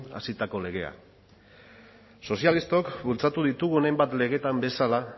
hasitako legea sozialistok bultzatu ditugun hainbat legetan bezala